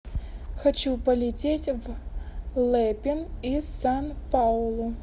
хочу полететь в лэпин из сан паулу